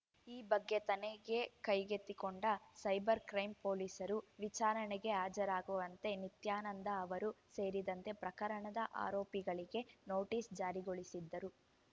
ಈ ಬಗ್ಗೆ ತನಿಖೆ ಕೈಗೆತ್ತಿಕೊಂಡ ಸೈಬರ್‌ ಕ್ರೈಂ ಪೊಲೀಸರು ವಿಚಾರಣೆಗೆ ಹಾಜರಾಗುವಂತೆ ನಿತ್ಯಾನಂದ ಅವರು ಸೇರಿದಂತೆ ಪ್ರಕರಣದ ಆರೋಪಿಗಳಿಗೆ ನೋಟಿಸ್‌ ಜಾರಿಗೊಳಿಸಿದ್ದರು